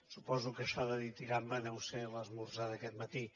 suposo que això de ditirambe deu ser l’esmorzar d’aquest matí